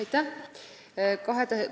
Aitäh!